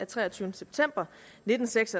tak til venstres